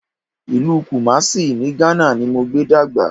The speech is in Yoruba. Ìlú Kùmásí ní Ghana ni mo gbé dàgbà